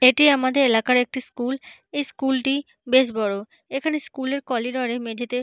এটি আমাদের এলাকার একটি স্কুল । এই স্কুল টি বেশ বড়। এখানে স্কুল -এর কলিরডর -এ মেঝেতে--